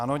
Ano.